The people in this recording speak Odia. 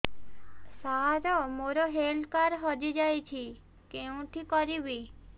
ସାର ମୋର ହେଲ୍ଥ କାର୍ଡ ହଜି ଯାଇଛି କେଉଁଠି କରିବି